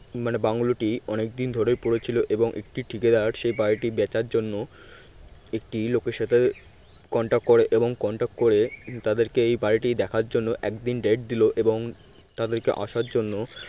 মানে বাংলোটি অনেকদিন ধরেই পড়েছিল এবং একটি ঠিকাদার সেই বাড়িটি বেচার জন্য একটি লোকের সাথে contact করে এবং contact করে তাদেরকে এই বাড়িটি দেখার জন্য একদিন date দিল এবং তাদেরকে আসার জন্য